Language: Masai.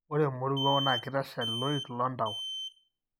ore emoruo na kitashal iloik lontau.